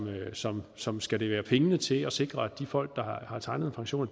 som som skal levere pengene til at sikre at de folk der har tegnet pensioner